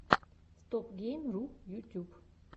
стопгейм ру ютьюб